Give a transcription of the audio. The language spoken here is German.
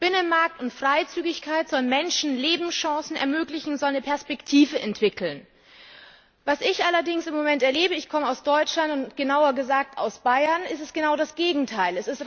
Binnenmarkt und Freizügigkeit sollen Menschen Lebenschancen ermöglichen, sollen eine Perspektive entwickeln. Was ich allerdings im Moment erlebe ich komme aus Deutschland, genauer gesagt aus Bayern ist genau das Gegenteil.